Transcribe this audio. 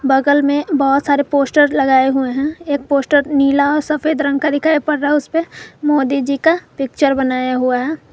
बगल में बहुत सारे पोस्टर लगाए हुए हैं एक पोस्टर नीला सफेद रंग का दिखाई पड़ रहा है उसपे मोदी जी का पिक्चर बनाया हुआ है।